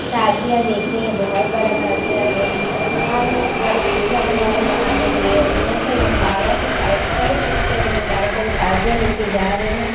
ताजिया देख रहे है ये बहोत बड़ा ताजिया है ये मुसलमान में सिया लोग सबसे ज्यादा मोहर्म बनाते हैं तो ये उन्हीं का मंबारा है क साइड का ये पिक्चर है मुम्बरा का जो ताजिया लेके जा रहे हैं।